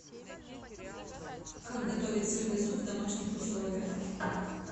как готовить сырный суп в домашних условиях